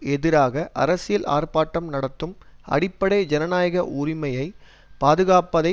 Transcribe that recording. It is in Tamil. எதிராக அரசியல் ஆர்ப்பாட்டம் நடத்தும் அடிப்படை ஜனநாயக உரிமையை பாதுகாப்பதை